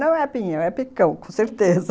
Não é pinhão, é picão, com certeza.